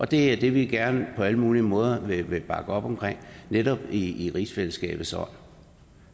det er det vi gerne på alle mulige måder vil bakke op omkring netop i rigsfællesskabets ånd